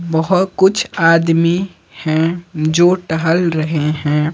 वह कुछ आदमी हैं जो टहल रहे हैं।